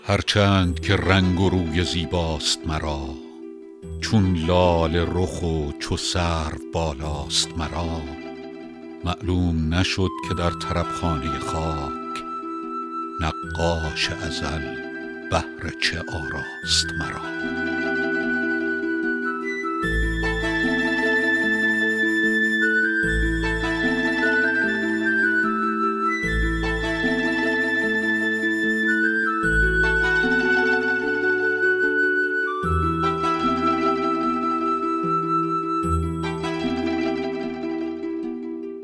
هر چند که رنگ و روی زیباست مرا چون لاله رخ و چو سرو بالاست مرا معلوم نشد که در طرب خانه خاک نقاش ازل بهر چه آراست مرا